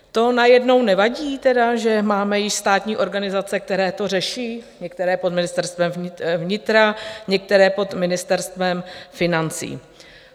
To najednou tedy nevadí, že máme již státní organizace, které to řeší, některé pod Ministerstvem vnitra, některé pod Ministerstvem financí?